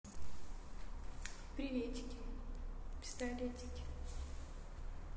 приветики пистолетики